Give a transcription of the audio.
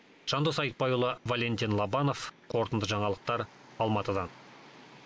жандос айтбайұлы валентин лобанов қорытынды жаңалықтар алматыдан